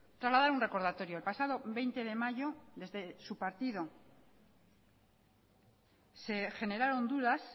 trasladar un recordatorio el pasado veinte de mayo desde su partido se generaron dudas